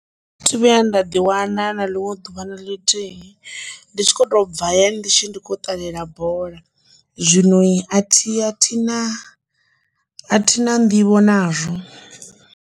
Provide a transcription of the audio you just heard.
Thi thu vhuya nda ḓi wana na ḽiṅwe ḓuvha na ḽithihi ndi tshi kho to bva ya ndi tshi kho ṱalela bola zwino a thi a thi thu na nḓivho nazwo.